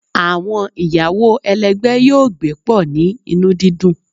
Awọn iyawo ẹlẹgbẹ yoo gbe pọ ni inu didun